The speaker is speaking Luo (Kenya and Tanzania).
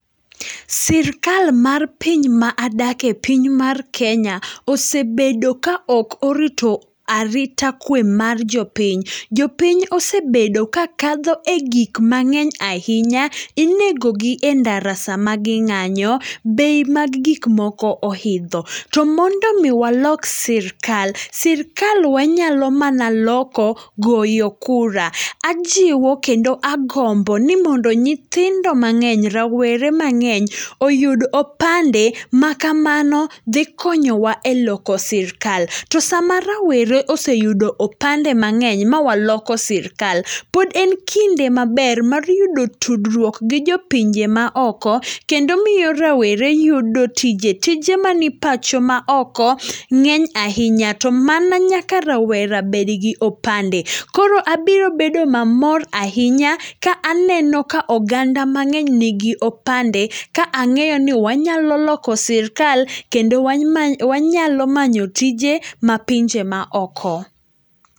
Sirkal mar piny ma adake, piny mar Kenya osebedo kaok orito arita kwe mar jopiny. Jopiny osebedo ka kadho e gik mang'eny ahinya, inegogi e ndara sama ging'anyo, bei mag gikmoko ohidho. To mondomi walok sirkal, sirkal wanyalo mana loko goyo kura. Ajiwo, kendo agomboni mondo nyithindo mang'eny, rawere mang'eny oyud opande makamano dhi konyowa e loko sirkal. To sama rawere oseyudo opande mang'eny mawaloko sirkal, pod en kinde maber mar yudo tudruok gi jopinje maoko, kendo miyo rawere yudo tije. Tije mani pacho maoko ng'eny ahinya, to mana nyaka rawera bedgi opande. Koro abiro bedo mamor ahinya, ka aneno ka oganda mang'eny nigi opande, ka ang'eyoni wanyalo loko sirkal kendo wanyalo manyo tije mapinje maoko.